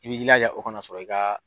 I b'i jilaja o kana sɔrɔ i ka